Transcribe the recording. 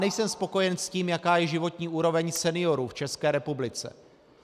Nejsem spokojen s tím, jaká je životní úroveň seniorů v České republice.